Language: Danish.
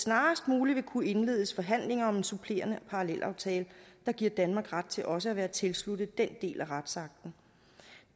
snarest muligt ville kunne indledes forhandlinger om en supplerende parallelaftale der giver danmark ret til også at være tilsluttet den del af retsakten